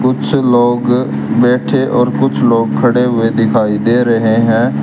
कुछ लोग बैठे और कुछ लोग खड़े हुए दिखाई दे रहे हैं।